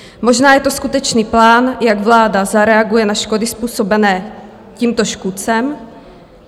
Možná je to skutečný plán, jak vláda zareaguje na škody způsobené tímto škůdcem.